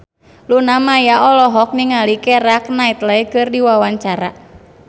Luna Maya olohok ningali Keira Knightley keur diwawancara